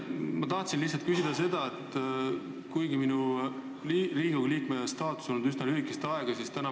Ma olen Riigikogu liige olnud üsna lühikest aega ja tahan lihtsalt küsida sellist asja.